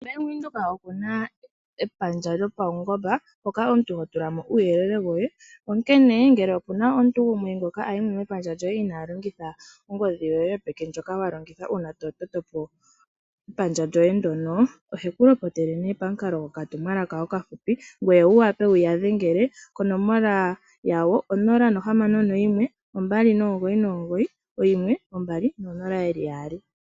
Bank Windhoek oku na epandja lyopaungonga hoka omuntu ho tulamo uuyelele woye , onkene ngele ope na omuntu gumwe ngoka a yimo mepandja lyoye inaa longitha ongodhi yoye ndjoka yopeke uuna to totopo epandja lyoye ndono oheku lopotele pamukalo goka tumwalaka oka fupi konomola yawo 061 2991 200